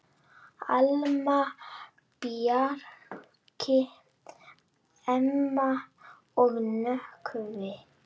Alma, Bjarki, Emma og Nökkvi.